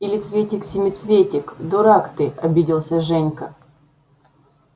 или цветик-семицветик дурак ты обиделся женька